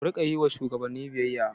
Ku riƙa yi wa shugabanni biyayya!